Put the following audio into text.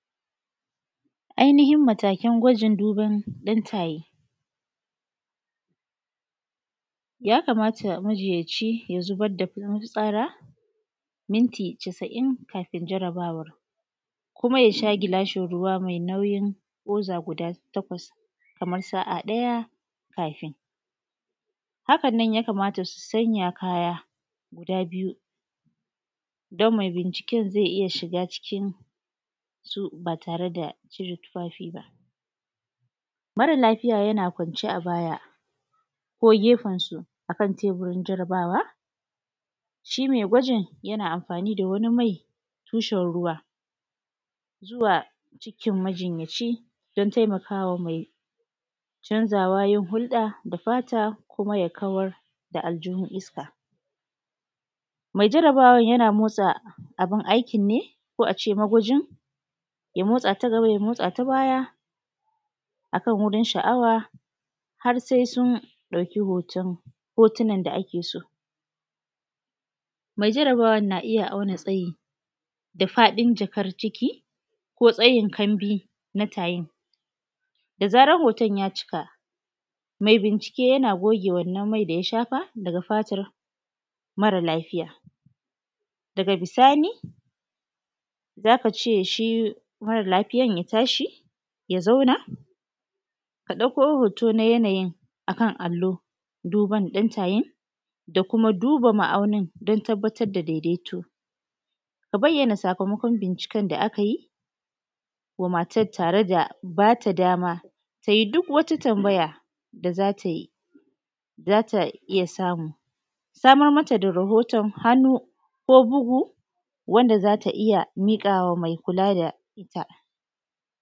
Ainihin matakan gwajin duban ɗan tayi. Ya kamata majiyaci ya zubar da mafitsara minti casa'in kafin jarabawar, kuma ya sha gilashin ruwa mai nauyin goza guda takwas kaman sa a ɗaya kafin. Haka nan ya kamata su sanya kaya guda biyu don mai binciken zai iya shiga cikin su ba tare da cire tufafi ba. Mara lafiya yana kwance a baya ko gefen su a kan teburin jarabawa shi mai gwajin yana amfani da wani mai tushen ruwa zuwa cikin majinyaci don taimaka wa mai canzawa yi hulɗa da fata kuma ya kawar da aljihun iska. Mai jarabawan yana motsa abun aikin ne ko a ce magwajin, ya motsa ta gaba, ya motsa ta baya a kan wurin sha’awa har sai sun ɗauki hoto hotunan da ake so. Mai jarabawan na iya auna tsayi da faɗin jakar ciki ko tsayin kanbi na tayin. Da zarar hoto ya cika mai bincike yana goge wannan mai da ya shafa daga fatar mara lafiya, daga bisani za ka ce shi mara lafiyan ya tashi, ya zauna a ɗauko hoto na yanayin a kan allo duban ɗan tayin da kuma duba ma'aunin don tabbatar da daidaito. A bayyana sakamakon binciken da aka yi wa matan tare da ba ta dama tayi duk wata tambaya da za ta yi, za ta iya samu. Samar mata da rahonton hannu ko bugu wanda za ta iya miƙa wa mai kula da ita.